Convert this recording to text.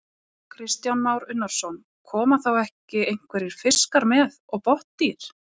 Kristján Már Unnarsson: Koma þá ekki einhverjir fiskar með og botndýr?